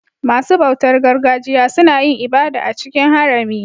Masu bautar gargajiya suna yin ibada a cikin harami.